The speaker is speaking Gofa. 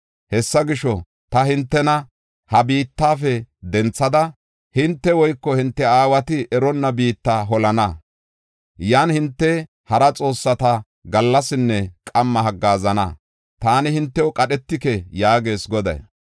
Hessa gisho, ta hintena ha biittafe denthada, hinte woyko hinte aawati eronna biitta holana. Yan hinte hara xoossata gallasinne qamma haggaazana; taani hintew qadhetike” yaagees Goday.